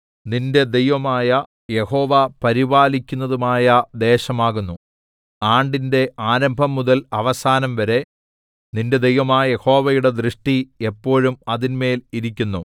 നിന്റെ ദൈവമായ യഹോവ പരിപാലിക്കുന്നതുമായ ദേശമാകുന്നു ആണ്ടിന്റെ ആരംഭംമുതൽ അവസാനംവരെ നിന്റെ ദൈവമായ യഹോവയുടെ ദൃഷ്ടി എപ്പോഴും അതിന്മേൽ ഇരിക്കുന്നു